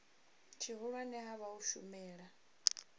tshihulwane ha vha u shumela